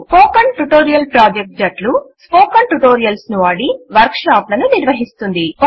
spoken tutorial project జట్లు spoken tutorials ను వాడి వర్క్ షాప్ లను నిర్వహిస్తుంది